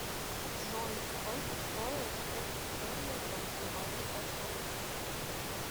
джой сколько стоил фунт стерлинга в январе прошлого года